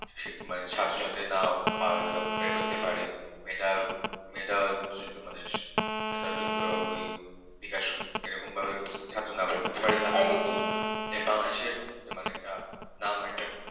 এভাবে যদি সাথে সাথে না করতে পারে মেধা মেধা মেধাযুক্ত বিকাশ এরকমভাবে ছাত্র না পড়তে পারে তাহলে এ Bangladesh র একটা নাম